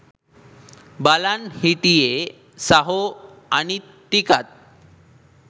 බලන් හිටියෙ සහො අනිත් ටිකත්